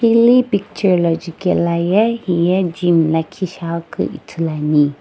hili picture la jukaeloye heye gym lakhi shiaghi keu ithulu ane.